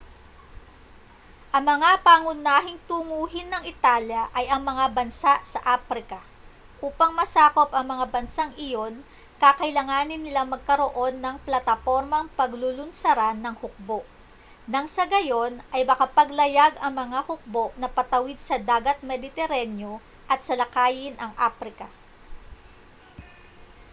ang mga pangunahing tunguhin ng italya ay ang mga bansa sa aprika upang masakop ang mga bansang iyon kakailanganin nilang magkaroon ng platapormang paglulunsaran ng hukbo nang sa gayon ay makapaglayag ang mga hukbo na patawid sa dagat mediteraneo at salakayin ang aprika